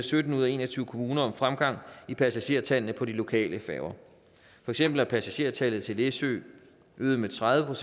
sytten ud af en og tyve kommuner meldt om fremgang i passagertallene på de lokale færger for eksempel er passagertallet til læsø øget med tredive